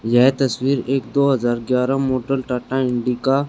यह तस्वीर एक दो हजार एकग्यारह मोटर टाटा इंडिका --